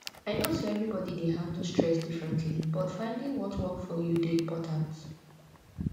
i know say everybody dey handle stress differently but finding what work for you dey important